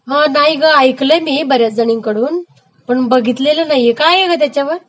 हा नाही ग, ऐकलयं मी बऱ्याच जणींकडून पण बघितलेलं नाही, काय आहे ग त्याच्यावर